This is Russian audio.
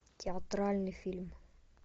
театральный фильм